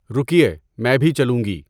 رُکیے، میں بھی چلوں گی!